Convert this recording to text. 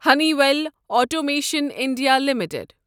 honey well automation India limited